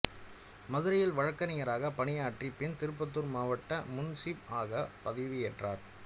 மதுரையில் வழக்கறிஞராக பணியாற்றிய பின் திருப்பத்தூர் மாவட்ட முன்சீப் ஆக பதவியேற்றார்